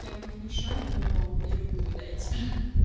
я в них не шарю но мне любую дайте